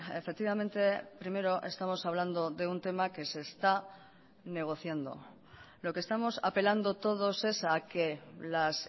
efectivamente primero estamos hablando de un tema que se está negociando lo que estamos apelando todos es a que las